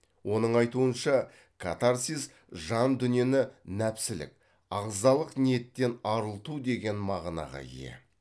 оның айтуынша катарсис жан дүниені нәпсілік ағзалық ниеттен арылту деген мағынаға ие